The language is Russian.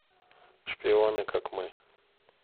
шпионы как мы